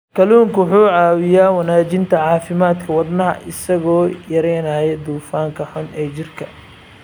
Kalluunku wuxuu caawiyaa wanaajinta caafimaadka wadnaha isagoo yareynaya dufanka xun ee jirka.